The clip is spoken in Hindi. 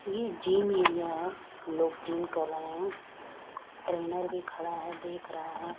ये जिम एरिया है लोग जिम कर रहे है ट्रेनर भी खड़ा है देख रहा है।